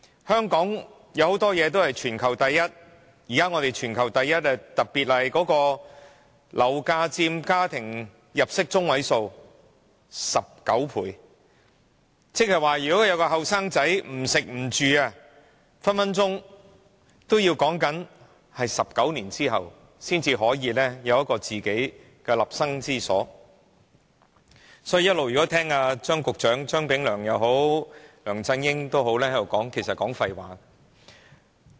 香港有很多東西都是全球第一，現在我們的樓價是全球第一高，一名年輕人即使不吃不住，都要儲蓄19年才可以有一個自己的立身之所，所以張炳良局長和梁振英其實一直都在說廢話。